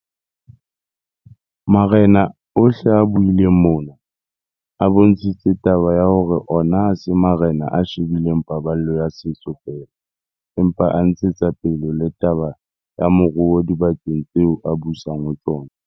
Marena ohle a buileng mona, a bontshitse taba ya hore ona ha se marena a she bileng paballo ya setso feela, empa a ntshetsa pele le taba ya moruo dibakeng tseo a busang ho tsona.